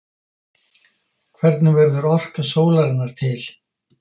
Hvernig verður orka sólarinnar til?